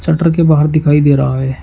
Shutter के बाहर दिखाई दे रहा है।